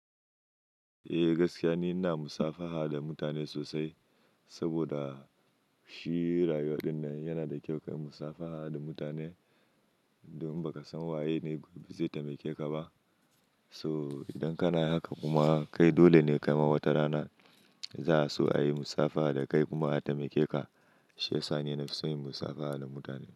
Eh gaskiya ne, ina musafaha da mutane sosai. Saboda shi rayuwa din nan yana da kyau, kai musafaha da mutane. Don baka san waye ne gobe zai taimake ka ba. So idan kana haka kuma kai dole ne kai ma wata rana za su a yi musafaha da kai kuma a taimake ka. Shi ya sa ni na fi son yin musafaha da mutane.